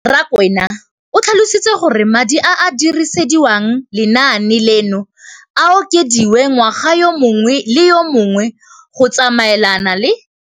Rakwena o tlhalositse gore madi a a dirisediwang lenaane leno a okediwa ngwaga yo mongwe le yo mongwe go tsamaelana le